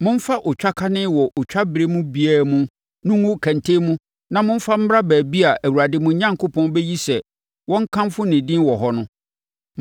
momfa otwakane wɔ otwa berɛ biara mu no ngu kɛntɛn mu na momfa mmra baabi a Awurade, mo Onyankopɔn, bɛyi sɛ wɔnkamfo ne din wɔ hɔ no.